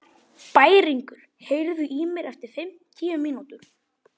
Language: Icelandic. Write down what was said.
Bæringur, heyrðu í mér eftir fimmtíu mínútur.